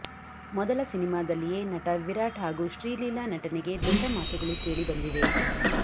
ಮೊದಲ ಸಿನಿಮಾದಲ್ಲಿಯೇ ನಟ ವಿರಾಟ್ ಹಾಗೂ ಶ್ರೀಲೀಲಾ ನಟನೆಗೆ ದೊಡ್ಡ ಮಾತುಗಳು ಕೇಳಿ ಬಂದಿವೆ